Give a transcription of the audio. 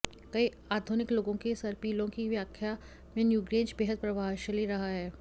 कई आधुनिक लोगों की सर्पिलों की व्याख्या में न्यूग्रेंज बेहद प्रभावशाली रहा है